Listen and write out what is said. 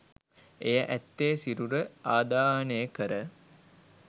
එය ඇත්තේ සිරුර ආදාහනය කර